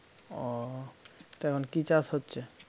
ও তা এখন কী চাষ হচ্ছে?